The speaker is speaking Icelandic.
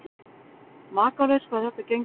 Makalaust hvað þetta gengur vel.